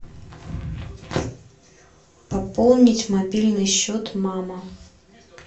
пополнить мобильный счет мама